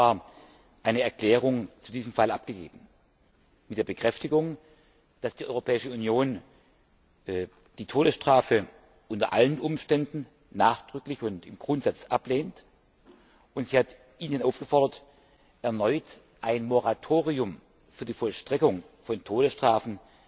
11. Februar eine Erklärung zu diesem Fall abgegeben, indem sie bekräftigte, dass die Europäische Union die Todesstrafe unter allen Umständen nachdrücklich und im Grundsatz ablehnt, und sie hat Indien aufgefordert, erneut ein Moratorium für die Vollstreckung von Todesstrafen